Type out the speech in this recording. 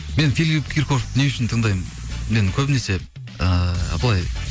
мен филип киркоровті не үшін тыңдаймын мен көбінесе ыыы былай